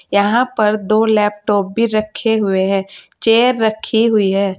यहां पर दो लैपटॉप भी रखे हुए हैं चेयर रखी हुई है।